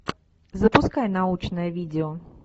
запускай научное видео